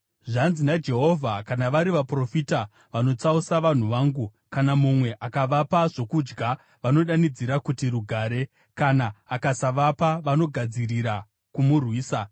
Zvanzi naJehovha: “Kana vari vaprofita vanotsausa vanhu vangu, kana mumwe akavapa zvokudya, vanodanidzira kuti ‘Rugare’; kana akasavapa, vanogadzirira kumurwisa.